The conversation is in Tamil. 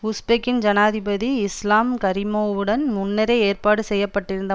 உஷ்பெக்கின் ஜனாதிபதி இஸ்லாம் கரிமோவுடன் முன்னரே ஏற்பாடு செய்ய பட்டிருந்த